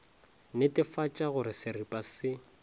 netefatša go re seripa se